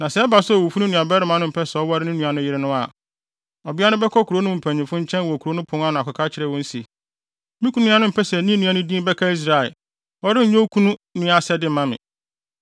Na sɛ ɛba sɛ owufo no nuabarima mpɛ sɛ ɔware ne nua no yere no a, ɔbea no bɛkɔ kurow no mpanyimfo nkyɛn wɔ kurow no pon ano akɔka akyerɛ wɔn se, “Me kunu nua no mpɛ sɛ ne nua no din bɛka Israel. Ɔrenyɛ okunu nua asɛde mma me.”